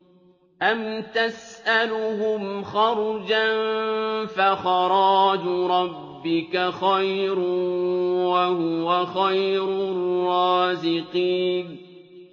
أَمْ تَسْأَلُهُمْ خَرْجًا فَخَرَاجُ رَبِّكَ خَيْرٌ ۖ وَهُوَ خَيْرُ الرَّازِقِينَ